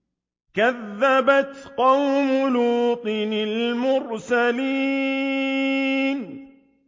كَذَّبَتْ قَوْمُ لُوطٍ الْمُرْسَلِينَ